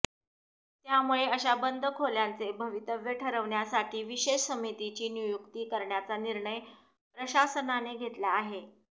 त्यामुळे अशा बंद खोल्यांचे भवितव्य ठरविण्यासाठी विशेष समितीची नियुक्ती करण्याचा निर्णय प्रशासनाने घेतला आहे